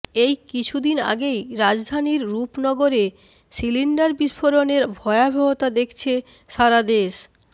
এই কিছুদিন আগেই রাজধানীর রুপনগরে সিলিন্ডার বিষ্ফোরণের ভয়াবহতা দেখেছে সারা দেশ